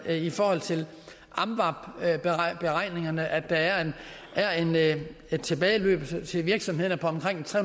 i forhold til amvab beregningerne forventer at der er et tilbageløb til virksomhederne på omkring tre